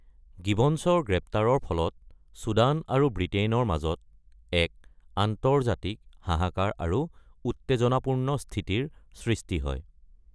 গিবনছৰ গ্ৰেপ্তাৰৰ ফলত চুদান আৰু ব্ৰিটেইনৰ মাজত এক আন্তৰ্জাতিক হাহাকাৰ আৰু উত্তেজনাপূৰ্ণ স্থিতিৰ সৃষ্টি হয়।